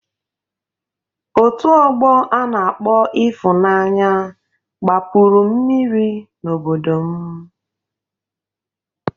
Otu ọgbọ a na-akpọ Ịfụnanya gbapuru mmiri n'obodo m.